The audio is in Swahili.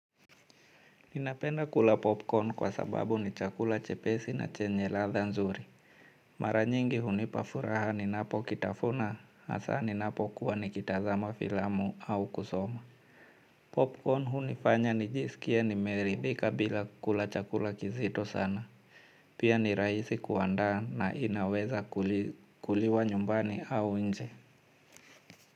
Ninapenda kula popcorn kwa sababu ni chakula chepesi na chenye latha nzuri. Mara nyingi hunipafuraha ni napo kitafuna hasa ni napo kuwa ni kitazama filamu au kusoma. Popcorn hunifanya ni jiskie ni meridhika bila kula chakula kizito sana. Pia ni rahisi kuandaa na inaweza kuliwa nyumbani au nje.